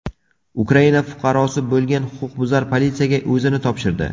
Ukraina fuqarosi bo‘lgan huquqbuzar politsiyaga o‘zini topshirdi.